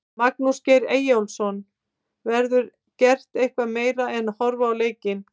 Magnús Geir Eyjólfsson: Verður gert eitthvað meira en horfa á leikinn?